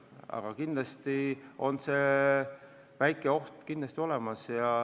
Aga kindlasti on see väike oht olemas.